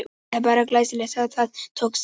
Það er bara glæsilegt að það tókst ekki!